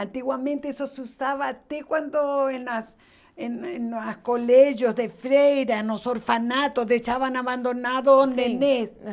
Antigamente isso se usava até quando nos colégios de freiras, nos orfanatos deixavam abandonado um sim neném